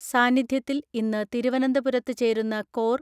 സാന്നിദ്ധ്യത്തിൽ ഇന്ന് തിരുവനന്തപുരത്ത് ചേരുന്ന കോർ